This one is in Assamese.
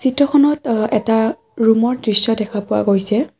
চিত্ৰখনত অ এটা ৰুম ৰ দৃশ্য দেখা পোৱা গৈছে।